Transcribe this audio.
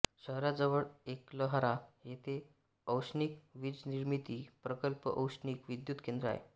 शहराजवळ एकलहरा येथे औष्णिक वीजनिर्मिती प्रकल्पऔष्णिक विद्युत केंद्र आहे